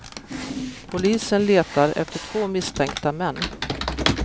Polisen letar efter två misstänkta män.